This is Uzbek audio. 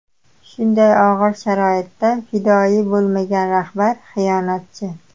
Shunday og‘ir sharoitda fidoyi bo‘lmagan rahbar xiyonatchi.